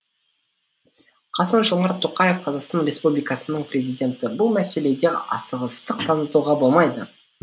қасым жомарт тоқаев қазақстан республикасының президенті бұл мәселеде асығыстық танытуға болмайды